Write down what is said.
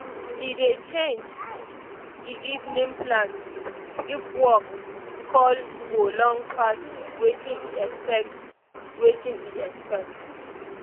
he dey change e evening plans if work call go long pass watin e expect watin e expect